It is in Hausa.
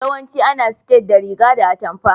Yawancin ana siket da riga da atumfa.